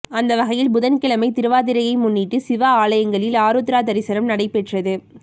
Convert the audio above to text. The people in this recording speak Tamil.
அந்த வகையில் புதன்கிழமை திருவாதிரை முன்னிட்டு சிவ ஆலயங்களில் ஆருத்ரா தரிசனம் நடைபெற்றது